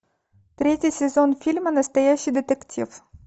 третий сезон фильма настоящий детектив